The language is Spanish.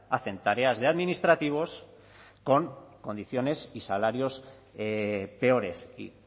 hacen tareas de administrativos con condiciones y salarios peores y